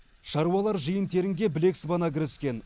шаруалар жиын терінге білек сыбана кіріскен